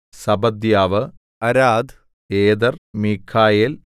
Zebadiah Arad Eder Mikhael